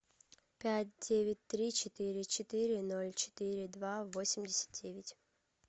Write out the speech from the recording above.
пять девять три четыре четыре ноль четыре два восемьдесят девять